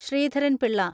Sreedharan Pillai